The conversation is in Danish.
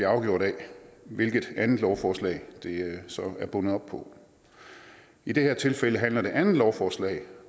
afgjort af hvilket andet lovforslag det så er bundet op på i det her tilfælde handler det andet lovforslag